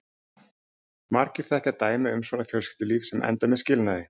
Margir þekkja dæmi um svona fjölskyldulíf sem enda með skilnaði.